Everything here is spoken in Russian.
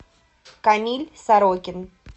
камиль сорокин